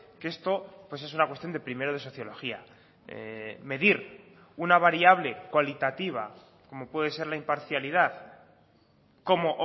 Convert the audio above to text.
que esto pues es una cuestión de primero de sociología medir una variable cualitativa como puede ser la imparcialidad como